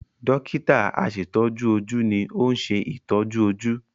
Dọ́kítà àṣetọ́jú ojú ni ó ń ṣe ìtọ́jú ojú.